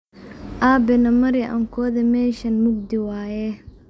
Abe namarix aan kuwadhe meshan mugdi waye.